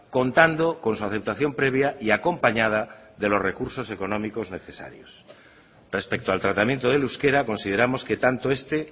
contando con su aceptación previa y acompañada de los recursos económicos necesarios respecto al tratamiento del euskera consideramos que tanto este